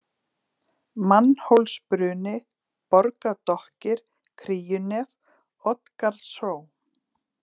Mannhólsbruni, Borgadokkir, Kríunef, Oddgarðshró